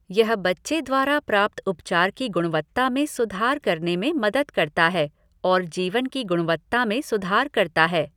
यह बच्चे द्वारा प्राप्त उपचार की गुणवत्ता में सुधार करने में मदद करता है और जीवन की गुणवत्ता में सुधार करता है।